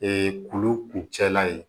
kulu kuncɛla ye